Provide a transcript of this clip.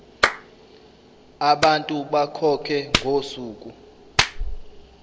abantu bakhokhe ngosuku